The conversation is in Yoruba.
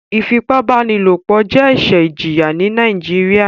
Ifipabanilopo jẹ ẹṣẹ ìjìyà ní nàìjíría